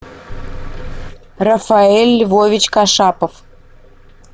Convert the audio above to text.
рафаэль львович кашапов